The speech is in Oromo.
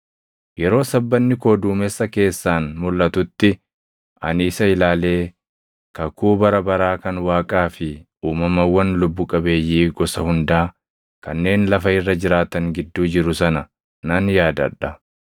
Yeroo sabbanni koo duumessa keessaan mulʼatutti, ani isa ilaalee kakuu bara baraa kan Waaqaa fi uumamawwan lubbu qabeeyyii gosa hundaa kanneen lafa irra jiraatan gidduu jiru sana nan yaadadha.”